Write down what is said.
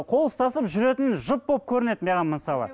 қол ұстасып жүретін жұп болып көрінеді маған мысалы